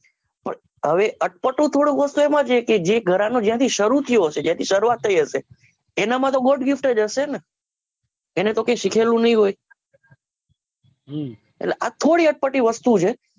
હવે અટપટો થોડો કહો તો એમાં છે કે એ ઘરાનો જ્યાંથી સરું થયું હસે જ્યાંથી શરૂઆત થઈ હસે એના માતો god gift ક હસે ને એને તો કંઈ શીખેલું નહિ હોય એટલે આ થોડી અટપટી વસ્તુ છે